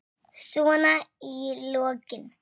Svona í lokin.